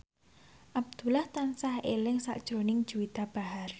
Abdullah tansah eling sakjroning Juwita Bahar